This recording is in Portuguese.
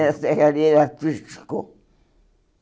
ferralheiro artístico.